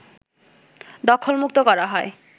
দখলমুক্ত করা হয়